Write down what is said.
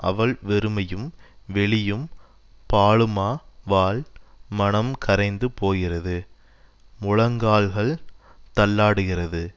அவள் வெறுமையும் வெளியும் பாழுமா வாள் மனம் கரைந்து போகிறது முழங்கால்கள் தள்ளாடுகிறது